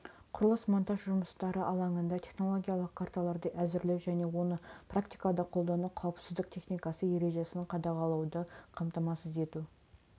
құрылыс-монтаж жұмыстары алаңында технологиялық карталарды әзірлеу және оны практикада қолдану қауіпсіздік техникасы ережесін қадағалауды қамтамасыз ету